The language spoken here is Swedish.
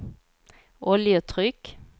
oljetryck